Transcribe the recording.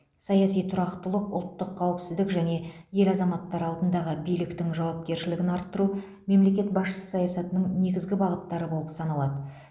саяси тұрақтылық ұлттық қауіпсіздік және ел азаматтары алдындағы биліктің жауапкершілігін арттыру мемлекет басшысы саясатының негізгі бағыттары болып саналады